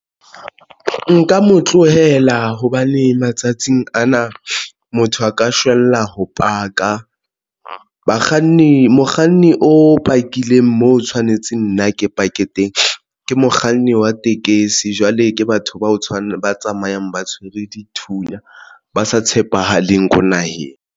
Nka mo tlohela hobane matsatsing ana motho a ka shwella ho paka bakganni, mokganni o pakileng mo tshwanetseng nna ke pake mokganni wa tekesi. Jwale ke batho ba tshwana ba tsamayang ba tshwere dithunya ba sa tshepahaleng ko naheng.